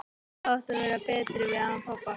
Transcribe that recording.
Ég hefði átt að vera betri við hann pabba.